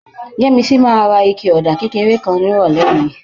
Yẹ́misí máa ra ike ọ̀dà kékeré kan nírọ̀lẹ́ yìí